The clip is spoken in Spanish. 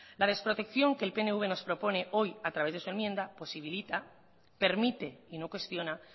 la desprotección que el pnv nos propone hoy a través de su enmienda posibilita permite y no cuestiona